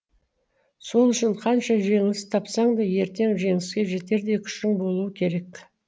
сол үшін қанша жеңіліс тапсаң да ертең жеңіске жетердей күшің болуы керек